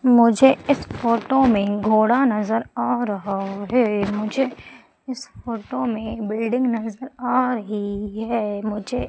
मुझे इस फोटो में घोड़ा नजर आ रहा है मुझे इस फोटो में बिल्डिंग नजर आ रही है मुझे --